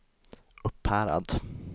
Upphärad